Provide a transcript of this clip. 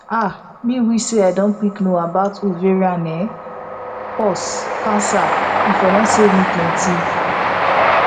ah me wish say i don quick know about ovarian um pause cancer e for don save me plenty